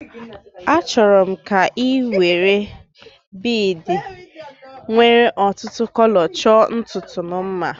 Achọrọ m ka ị were biidi nwéré ọtụtụ kọlọ chọọ ntutu m mma